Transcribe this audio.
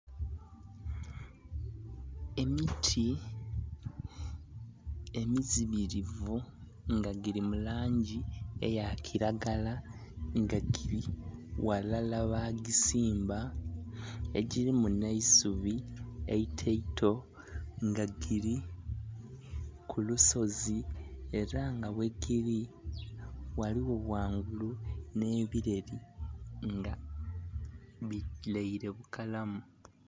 Emiti emizimilivu nga gili mu langi eya kilagala nga gili ghalala bagisimba, egilimu nh'eisubi eito eito, nga gili ku lusozi. Ela nga ghegili ghaligho ghangulu nh'ebileli nga bilaile bukalamu.